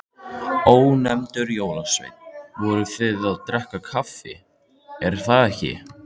Ónefndur jólasveinn: Voruð þið að drekka kaffi, er það ekki?